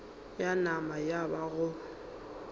ya nama ya ba go